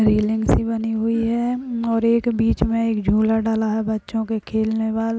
railing सी बनी हुई है और एक बीच में एक झूला डला है बच्चों के खेलने वाला --